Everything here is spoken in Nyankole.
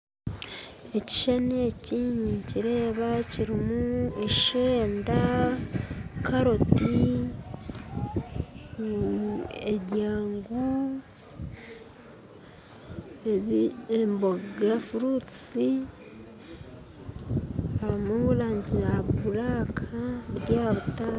Ekishushani eki ninkireeba kirimu eshenda karoti ebyangu emboga ebijuma harimu erangi erikwiragura biri aha rutara